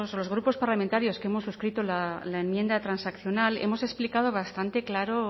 los grupos parlamentarios que hemos suscrito la enmienda transaccional hemos explicado bastante claro